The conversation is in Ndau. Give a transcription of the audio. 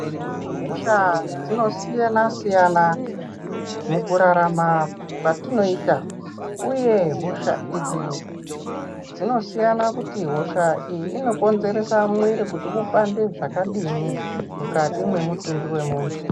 Eya hosha dzino siyana siyana mukurarama kwatinoita. Uye hosha idzi dzinosiyana kuti hosha iyi inokonzeresa mwiri kuti upande zvakadini mukati mwemutumbi wemuntu.